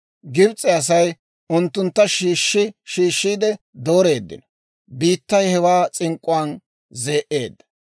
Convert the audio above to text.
Gibs'e Asay unttuntta shiishshi shiishshiide dooreeddino; biittay hewaa s'ink'k'uwaan zee"eedda.